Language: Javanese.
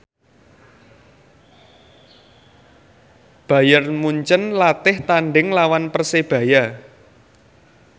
Bayern Munchen latih tandhing nglawan Persebaya